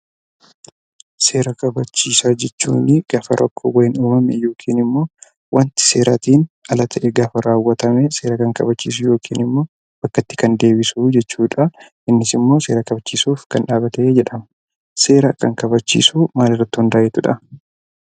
Seera kabachiisaa jechuun gaafa rakkoon wayii uumamu yookiin immoo wanti seeraa tiin ala ta'e gaafa raawwatame, seera kan kabachiisu yookiin immoo bakkatti kan deebisu jechuu dha. Innis immoo seera kabachiisuuf kan dhaabate jedhama. Seera kan kabachiisu maal irratti hundaa'eetu dha?